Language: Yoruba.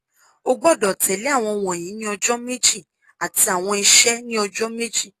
o gbọdọ tẹle awọn wọnyi ni ọjọ meji ati awọn iṣẹ ni ọjọ meji